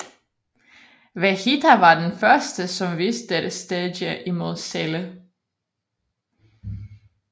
Vejita var den første som viste dette stadie imod Celle